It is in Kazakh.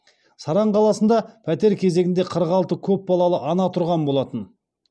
саран қаласында пәтер кезегінде қырық алты көпбалалы ана тұрған болатын